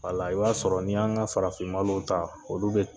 i y'a sɔrɔ n'i y'an ka farafinmalow ta olu bɛ